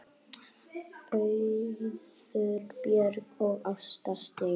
Auður Björt og Ásta Steina.